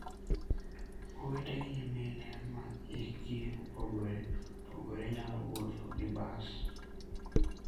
Owete gi nyimine ma hikgi opogore opogore nyalo wuotho gi bas.